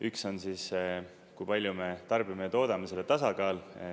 Üks on see, kui palju me tarbime ja toodame, selle tasakaal.